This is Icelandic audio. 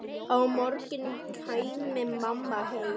Á morgun kæmi mamma heim.